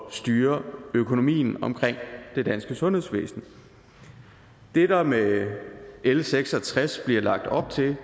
at styre økonomien omkring det danske sundhedsvæsen det der med l seks og tres bliver lagt op til